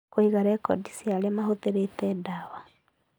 Kũiga rekondi cia ũrĩa ũhũthĩrĩte ndawa